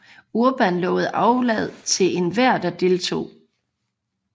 Urban lovede aflad til enhver der deltog